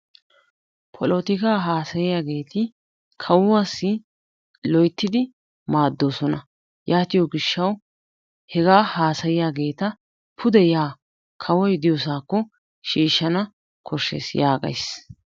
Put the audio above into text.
Polotikkaa haasayiyaageti kawuwaasi loyttidi maaddoosona. Yaatiyoo giishshawu hegaa haasayiyaageta pude yaa kaawoy diyoosakko shiishshana kooshshees yaagays.